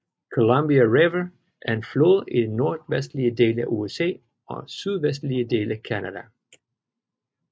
Columbia River er en flod i den nordvestlige del af USA og sydvestlige del af Canada